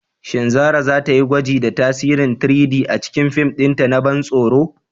Shin Zarah za ta yi gwaji da tasirin 3-D a cikin fim ɗinta na ban tsoro?